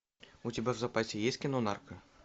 у тебя в запасе есть кино нарко